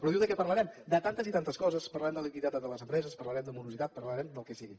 però diu de què parlarem de tantes i tantes coses parlarem de liquiditat de les empreses parlarem de morositat parlarem del que sigui